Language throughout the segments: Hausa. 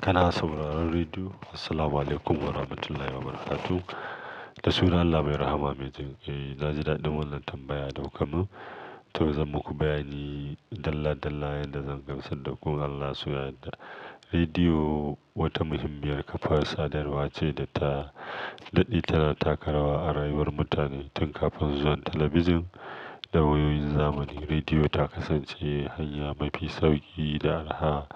Kana sauraron rediyo. Assalamu alaikum warahmatullahi wabarakatuh da sunan Allah mai rahama. Mai jin kai. Na ji daɗi wannan tambaya da kuka mun. To zan muku bayanin dala dala yadda zan gamsar da kun Allah suna yadda. Rediyo wata muhimmiyar kafar sadarwa ce da ta daɗe tana taka rawa a rayuwar mutane. Tun kafin zuwan talabijin da wayoyin zamani, rediyo ta kasance hanya mafi sauki da arha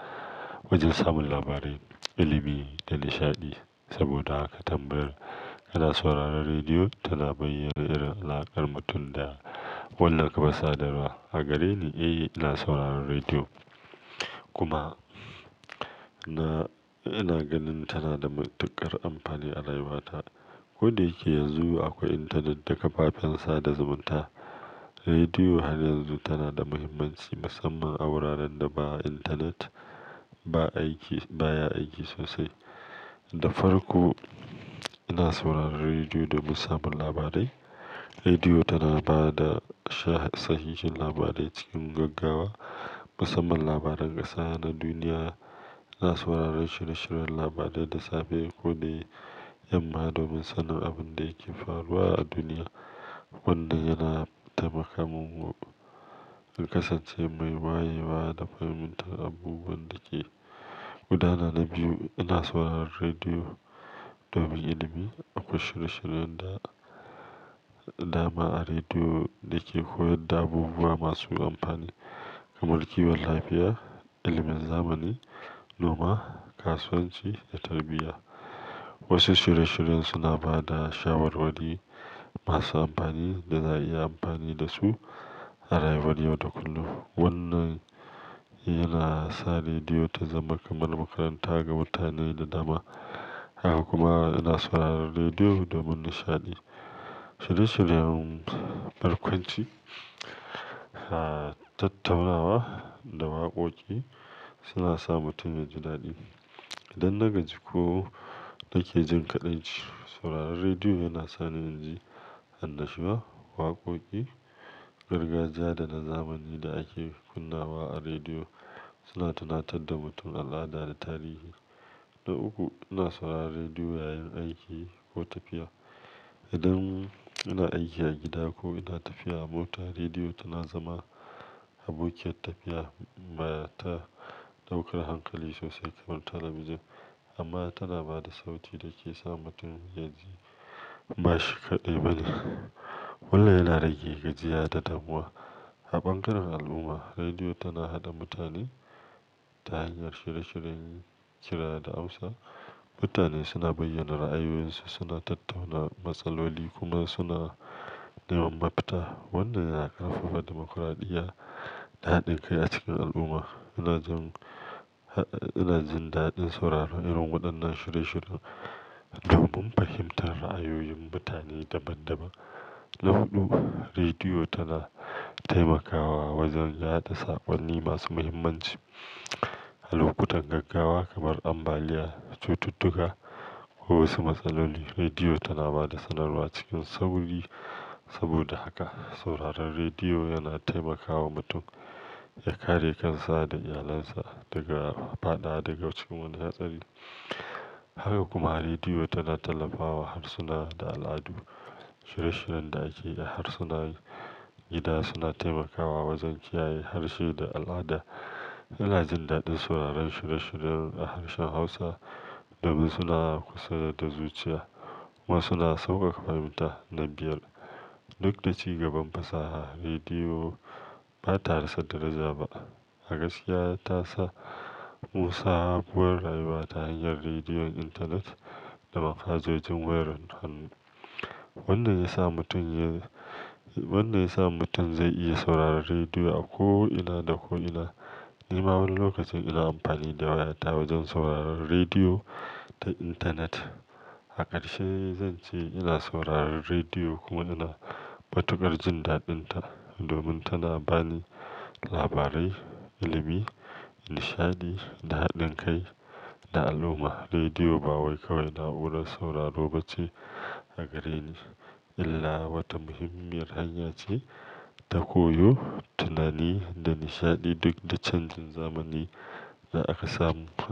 wajen samun labarai, ilimi da nishaɗi. Saboda haka tambayar kana sauraron rediyo tana bayyana irin alaƙar mutum da wannan kafar sadarwa. A gare ni, eh ina sauraron rediyo kuma ina ganin tana da matuƙar amfani a rayuwata. Ko da yake yanzu akwai intanet da kafafen sada zumunta, rediyo har yanzu tana da muhimmanci, musamman a wuraren da ba intanet ba aiki baya aiki sosai. Da farko ina sauraron rediyo don samun labarai. Rediyo tana ba da sahihin labarai cikin gaggawa, musamman labaran ƙasa da duniya. Na saurari shirye shiryen labarai da safe ko dai yamma domin sanin abin da yake faruwa a duniya. Wannan yana taimaka mungu kasance mai wayewa da fahimtar abubuwan da ke gudana. Na biyu, ina sauraron rediyo domin ilimi. Akwai shirye shiryen da dama a rediyo da ke koyar da abubuwa masu amfani kamar kiwon lafiya, ilimin zamani, noma, kasuwanci da tarbiyya. Wasu shirye shiryen suna ba da shawarwari masu amfani da za'a iya amfani da su a rayuwar yau da kullum. Wannan yana sa rediyo ta zama kamar makaranta ga mutane da dama. Haka kuma ina sauraron rediyo domin nishaɗi. Shirye shiryen barkwanci, tattaunawa da waƙoƙi suna sa mutum ya ji daɗi. Idan na gaji ko nake jin kaɗan ci, sauraron rediyo yana sa ni in ji annashuwa. Waƙoƙi, gargajiya da na zamani da ake kunna a rediyo suna tunatar da mutum al'ada da tarihi. Na uku, ina sauraron rediyo yayin aiki ko tafiya. Idan ina aiki a gida ko ina tafiya a mota, rediyo tana zama abokiyar tafiya mara ɗaukar hankali sosai kamar talabijin, amma tana ba da sauti da ke sa mutum ya ji ba shi kaɗai bane. Wannan yana rage gajiya da damuwa. A bangaren al'umma, rediyo tana haɗa mutane ta hanyar shirye shiryen ƙira da Hausa. Mutane suna bayyana ra'ayoyinsu, suna tattauna matsaloli kuma suna neman mafita. Wannan yana ƙarfafa dimokuradiyya da haɗin kai a cikin al'umma. Ina jin, ina jin daɗin sauraron irin waɗannan shirye shirye domin fahimtar ra'ayoyin mutane daban daban. Na huɗu, rediyo tana taimakawa wajen yada saƙonni masu muhimmanci. A lokutan gaggawa kamar ambaliya, cututtuka ko wasu matsaloli, rediyo tana ba da sanarwa cikin sauri. Saboda haka sauraron rediyo yana taimakawa mutum ya kare kansa da iyalinsa daga fa'ada daga cikin wani hatsari. Haka kuma rediyo tana tallafawa harsuna da al'adu. Shirye shiryen da ake a harsuna gida suna taimakawa wajen kiyaye harshe da al'ada. Ina jin daɗin sauraron shirye shiryen a harshen Hausa domin suna kusa da zuciya kuma suna sauƙaƙa fahimta. Na biyar duk da ci gaban fasaha rediyo bata da satara zaba a gaskisa tasa mu sa abubuwan rayuwa ta hanyar rediyon intanet da mafadzojin wayar hannu. Wannan ya sa mutum ya, wannan ya sa mutum zai iya sauraron rediyo a ko ina da ko ina. Ni ma wani lokacin ina amfani da wayata wajen sauraron rediyo ta intanet. A karshe zan ce ina sauraron rediyo kuma ina fatuƙar jin daɗinta domin tana bani labarai, ilimi, nishaɗi, da haɗin kai da al'umma. Rediyo ba wai kawai naura sauraro ba ce a gare ni, illa wata muhimmiyar hanya ce ta koyo, tunani da nishaɗi duk da canjin zamani da aka samu.